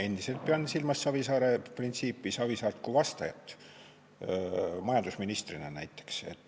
Endiselt pean silmas Savisaare printsiipi, Savisaart kui vastajat majandusministrina näiteks.